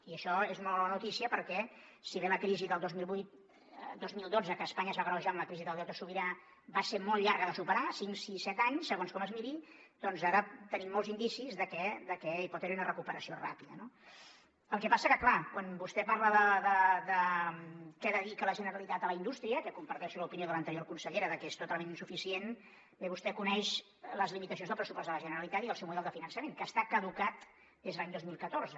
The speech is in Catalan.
i això és molt bona notícia perquè si bé la crisi del dos mil vuit dos mil dotze que a espanya es va agreujar amb la crisi del deute sobirà va ser molt llarga de superar cinc sis set anys segons com es miri doncs ara tenim molts indicis que hi pot haver una recuperació ràpida no el que passa que clar quan vostè parla de què dedica la generalitat a la indústria que comparteixo l’opinió de l’anterior consellera que és totalment insuficient bé vostè coneix les limitacions del pressupost de la generalitat i el seu model de finançament que està caducat des de l’any dos mil catorze